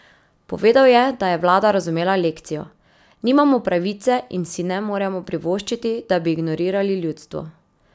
Povedal je, da je vlada razumela lekcijo: "Nimamo pravice in si ne moremo privoščiti, da bi ignorirali ljudstvo.